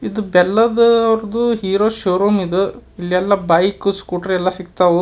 ಇದು ಬೆಲ್ಲದ್ ಅವ್ರುದು ಹೀರೋ ಶೋರೂಮ್ ಇದು. ಇಲ್ಲೆಲ್ಲಾ ಬೈಕ್ ಸ್ಕೂಟರ್ ಎಲ್ಲ ಸಿಗ್ತಾವು.